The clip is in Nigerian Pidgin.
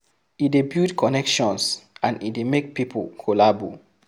E de build connections and e de make pipo collabo